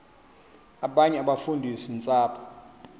abanye abafundisi ntshapo